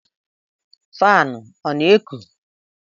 Fanu ọ na eku?